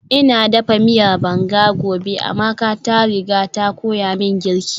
Ina dafa miyar banga gobe, Amaka ta riga ta koya min girki